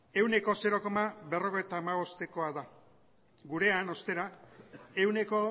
ehuneko zero koma berrogeita hamabostekoa da gurean ostera ehuneko